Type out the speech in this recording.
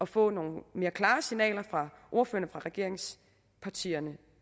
får nogle mere klare signaler fra ordførerne fra regeringspartierne